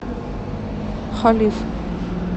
халиф